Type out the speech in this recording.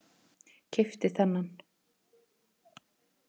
Keypti þennan.